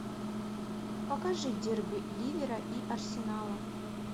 покажи дерби ливера и арсенала